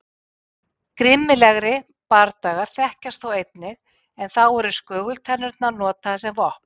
Grimmilegri bardagar þekkjast þó einnig en þá eru skögultennurnar notaðar sem vopn.